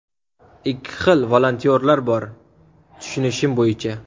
Ikki xil volontyorlar bor, tushunishim bo‘yicha.